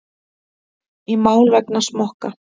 Í mál vegna smokka